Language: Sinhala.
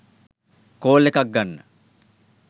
කෝල් එකක් ගන්න.